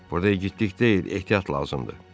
Burda igidlik deyil, ehtiyat lazımdır.